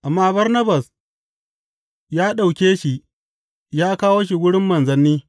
Amma Barnabas ya ɗauke shi ya kawo shi wurin manzanni.